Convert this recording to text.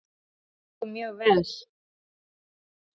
Hann gengur mjög vel.